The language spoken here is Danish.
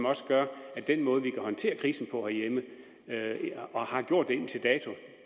også gør at den måde vi kan håndtere krisen på herhjemme og har gjort det indtil dato